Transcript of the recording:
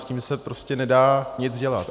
S tím se prostě nedá nic dělat.